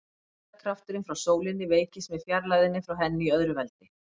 Þyngdarkrafturinn frá sólinni veikist með fjarlægðinni frá henni í öðru veldi.